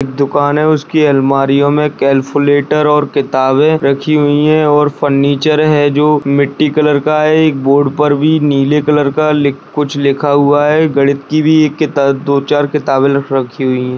एक दुकान है उसकी अलमारीयो में कैलकुलेटर और किताबे रखी हुई है और फर्निचर है जो मिट्टी कलर का है एक बोर्ड पर भी नीले कलर का ली कुछ लिखा हुआ है गणित की भी एक किताब दो-चार किताबें र-रखी हुई है।